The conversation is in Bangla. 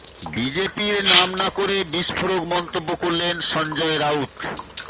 বিজেপির নাম না করে বিস্ফোরক মন্তব্য করলেন সঞ্জয় রাউত